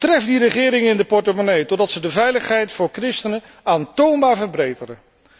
Tref die regeringen in de portemonnee totdat ze de veiligheid voor christenen aantoonbaar verbeteren.